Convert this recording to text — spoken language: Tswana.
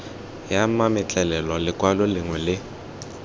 ya mametlelelo lekwalo lengwe le